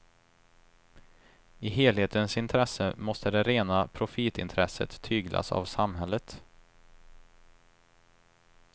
I helhetens intresse måste det rena profitintresset tyglas av samhället.